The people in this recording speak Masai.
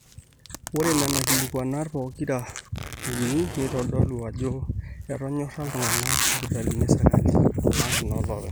ore nena kikilikuanat pokira uni neitodolu ajo etonyorra iltung'anak sipitalini esirkali alang inooloopeny